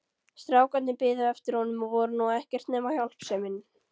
Strákarnir biðu eftir honum og voru nú ekkert nema hjálpsemin.